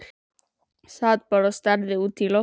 Ég sat bara og starði út í loftið.